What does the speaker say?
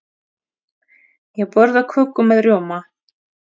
Ég borða köku með rjóma.